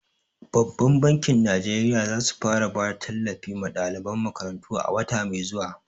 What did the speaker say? Babbar bankin Najeriya za su fara bada tallafi ma daliban makarantu a wata mai zuwa.